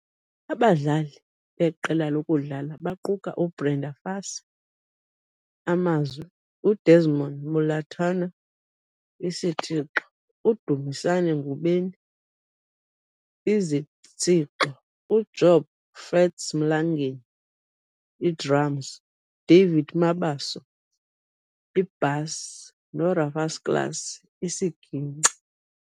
Abadlali beqela lakudala baquka uBrenda Fassie, Amazwi, uDesmond Malotana, Isitshixo, uDumisane Ngubeni, Izitshixo, uJob "Fats" Mlangeni, iDrums, David Mabaso, iBasi, noRufus Klaas, isiginci.